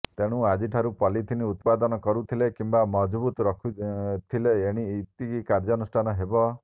ତେଣୁ ଆଜିଠାରୁ ପଲିଥିନ୍ ଉତ୍ପାଦନ କରୁଥିଲେ କିମ୍ବା ମହଜୁଦ ରଖିଥିଲେ ଏଣିକି କାର୍ଯ୍ୟାନୁଷ୍ଠାନ ହେବ